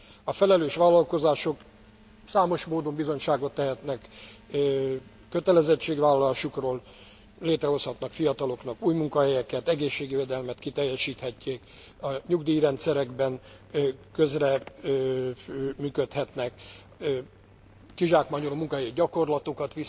A felelős vállalkozások számos módon bizonyságot tehetnek kötelezettségvállalásukról, létrehozhatnak fiataloknak új munkahelyeket, egészségvédelmet kiteljesíthetik, nyugdíjrendszerekben közreműködhetnek, kizsákmányoló munkahelyi gyakorlatokat